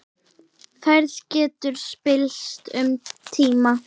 Færð getur spillst um tíma.